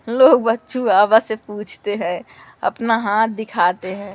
हम लोग से पूछते हैं अपना हाथ दिखाते हैं।